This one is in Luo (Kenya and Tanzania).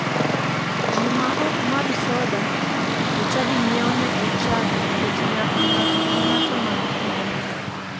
Ji ma ok madh soda to chadi nyiewo negi chak nikech nyaka ng'ato ka ng'ato madh gimoro.